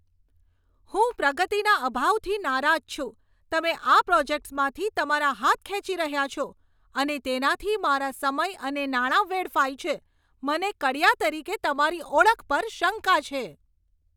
હું પ્રગતિના અભાવથી નારાજ છું. તમે આ પ્રોજેક્ટ્સમાંથી તમારા હાથ ખેંચી રહ્યાં છો અને તેનાથી મારા સમય અને નાણાં વેડફાય છે, મને કડિયા તરીકે તમારી ઓળખ પર શંકા છે.